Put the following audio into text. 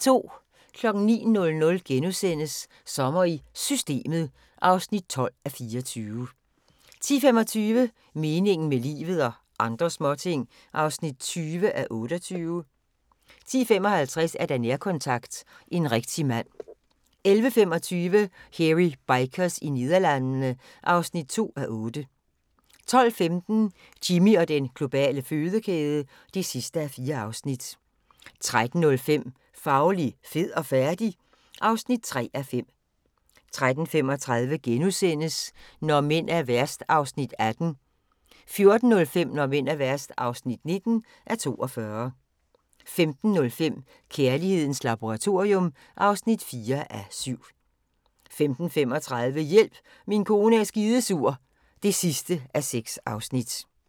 09:00: Sommer i Systemet (12:24)* 10:25: Meningen med livet – og andre småting (20:28) 10:55: Nærkontakt – En rigtig mand 11:25: Hairy Bikers i Nederlandene (2:8) 12:15: Jimmy og den globale fødekæde (4:4) 13:05: Fauli, fed og færdig? (3:5) 13:35: Når mænd er værst (18:42)* 14:05: Når mænd er værst (19:42) 15:05: Kærlighedens laboratorium (4:7) 15:35: Hjælp, min kone er skidesur (6:6)